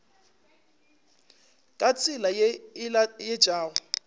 ka tsela ye e laetšago